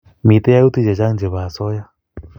mito yautik chechang' chebo asoya